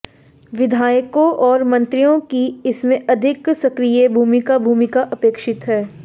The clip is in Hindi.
विधायकों और मंत्रियों की इसमें अधिक सक्रिये भूमिका भूमिका अपेक्षित है